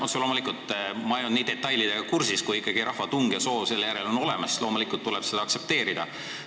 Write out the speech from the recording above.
Otse loomulikult ma ei ole nii hästi detailidega kursis, aga kui ikkagi rahva tung ja soov selle järele on olemas, siis loomulikult tuleb seda aktsepteerida.